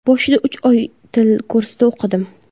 Boshida uch oy til kursida o‘qidim.